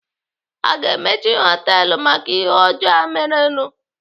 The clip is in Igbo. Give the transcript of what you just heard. Aga emechi họtelu maka ihe ọjọọ a merenụ?